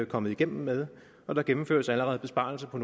kommet igennem med og der gennemføres allerede besparelser